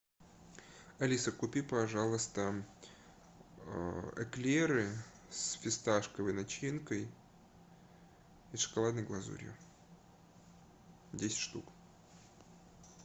алиса купи пожалуйста эклеры с фисташковой начинкой и шоколадной глазурью десять штук